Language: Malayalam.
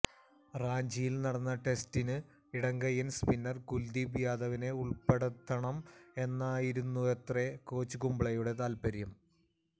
റാഞ്ചിയിൽ നടന്ന ടെസ്റ്റിന് ഇടങ്കയ്യൻ സ്പിന്നർ കുൽദീപ് യാദവിനെ ഉള്പ്പെടുത്തണം എന്നായിരുന്നത്രെ കോച്ച് കുംബ്ലെയുടെ താൽപര്യം